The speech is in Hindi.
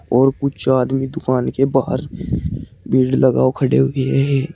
और कुछ आदमी दुकान के बाहर भीड़ लगाओ खड़े हुए है।